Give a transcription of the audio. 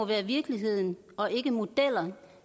det er virkeligheden og ikke modeller